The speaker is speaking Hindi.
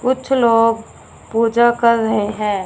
कुछ लोग पूजा कर रहे हैं।